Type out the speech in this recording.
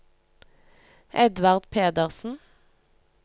Edvard Pedersen